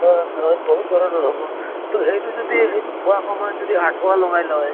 অহ বহুত ধৰণৰ হʼব। তʼ সেইটো যদি সেইটো খোৱা সময়ত যদি আঠুৱা লগাই লয়।